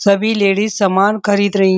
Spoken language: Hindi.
सभी लेडीज सामान खरीद रही --